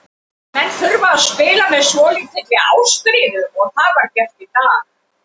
Menn þurfa að spila með svolítilli ástríðu og það var gert í dag.